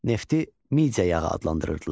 Nefti Midia yağı adlandırırdılar.